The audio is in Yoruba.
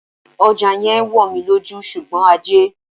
Ọjà yẹn ń wò mí lójú, ṣùgbọ́n ajé.